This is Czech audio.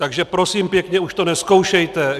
Takže prosím pěkně, už to nezkoušejte.